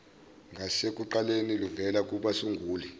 ngasekuqaleni luvela kubasunguli